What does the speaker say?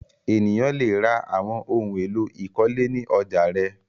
Ènìyàn le ra àwọn ohun-èlò ìkọ́lé ní ọjà rẹ̀.